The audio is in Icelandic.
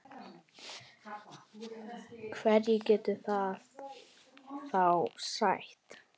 Hverju getur það þá sætt?